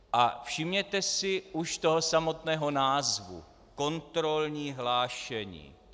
A všimněte si už toho samotného názvu: kontrolní hlášení.